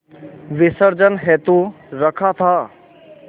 विसर्जन हेतु रखा था